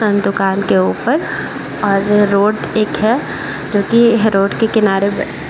दूकान के ऊपर और रोड एक है जो की है रोड के किनारे पे --